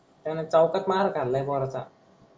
त्यान चवकात मार खाल आहे थोळसा,